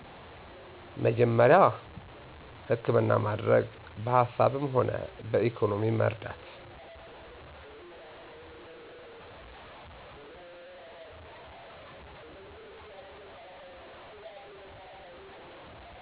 መጀመሪያ ሀከምና ማደረግ በሀሳብምሆና በኢኮኖሚ መርዳት